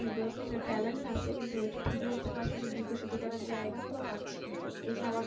ঠিক বলছো যে talent আছে কিন্তু ঐটা ঠিকমতো আসলে বিকশিত করার জায়গাও বা পাচ্ছি কই,